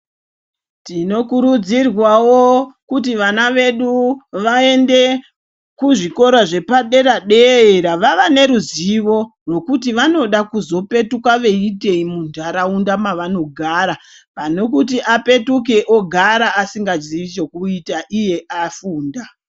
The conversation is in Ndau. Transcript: Tino kurudzirwawo kuti vana vedu vaende ku zvikora zvepa dera dera vava ne ruzivo rwekuti vanoda kuzo petuka vei itei mu ndaraunda mavano gara pane kuti apetuke ogara asinga zii chekuita iye afunda.